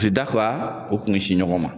U ti da kuwa o kun si ɲɔgɔn ma